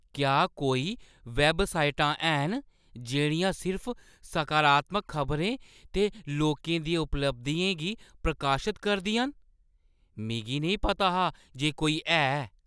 क्या कोई वैबसाइटां हैन जेह्ड़ियां सिर्फ सकारात्मक खबरें ते लोकें दियें उपलब्धियें गी प्रकाशत करदियां न? मिगी नेईं पता हा जे कोई है।